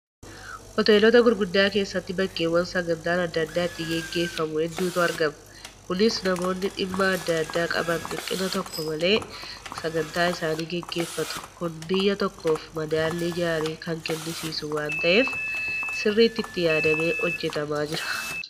Hoteelota gurguddaa keessatti bakkeewwan sagantaan adda addaa itti gaggeeffamu hedduutu argama. Kunis namoonni dhimma adda addaa qaban dhiphina tokko malee sagantaa isaanii gaggeeffatu. Kun biyya tokkoof madaallii gaarii kan kennisiisu waan ta'eef sirriitti itti yaadamee hojjetamaa jira.